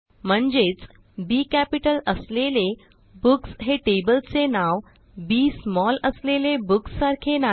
म्हणजेच B capital असलेले books हे टेबल चे नाव बी स्मॉल असलेले बुक्स सारखे नाही